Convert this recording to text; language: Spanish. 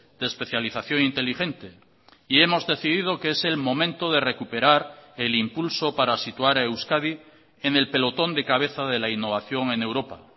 de especialización inteligente y hemos decidido que es el momento de recuperar el impulso para situar a euskadi en el pelotón de cabeza de la innovación en europa